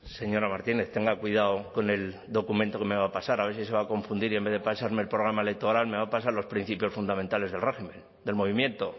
señora martínez tenga cuidado con el documento que me va a pasar a ver si se va a confundir y en vez de pasarme el programa electoral me va a pasar los principios fundamentales de régimen del movimiento